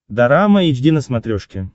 дорама эйч ди на смотрешке